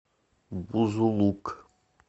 бузулук